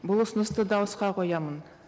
бұл ұсынысты дауысқа қоямын